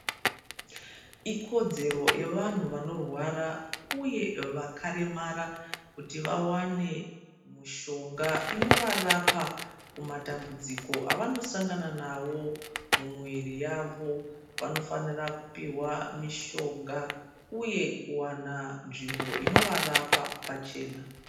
Ikodzero yevanhu vanorwara uye vakaremara, kuti vawane mushonga inovarapa kumatambudziko avanosangana navo mumwiri yavo. Vanofanira kupihwa mishonga uye kuwana nzvimbo inovarapa pachena.